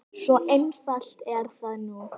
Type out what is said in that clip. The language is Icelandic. Svo einfalt er það nú.